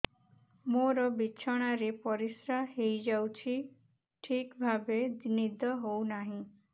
ମୋର ବିଛଣାରେ ପରିସ୍ରା ହେଇଯାଉଛି ଠିକ ଭାବେ ନିଦ ହଉ ନାହିଁ